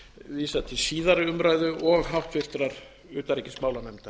vísað til síðari umræðu og háttvirtrar utanríkismálanefndar